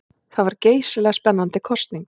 Það var geysilega spennandi kosning.